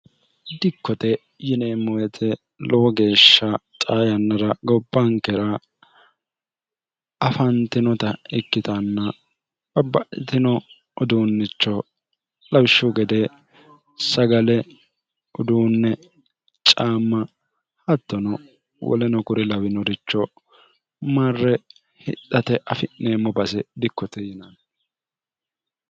dikkote yineemmowete lowo geeshsha xaa yannara gobbankera afantinota ikkitanna babbaitino uduunnicho lawishshu gede sagale uduunne caamma hattono woleno kure lawinoricho marre hidhate afi'neemmo base dikkote yinanni